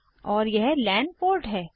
और यह LAN port है